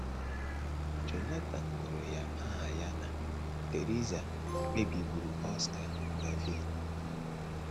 Jonathan gụrụ ya aha ya na Theresa kpebiburu Oscar Gavin.